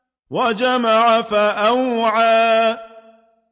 وَجَمَعَ فَأَوْعَىٰ